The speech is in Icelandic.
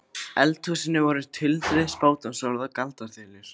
eldhúsinu voru tuldruð spádómsorð og galdraþulur.